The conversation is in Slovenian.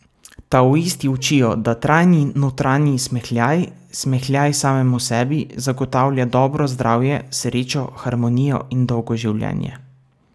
Taoisti učijo, da trajni notranji smehljaj, smehljaj samemu sebi, zagotavlja dobro zdravje, srečo, harmonijo in dolgo življenje.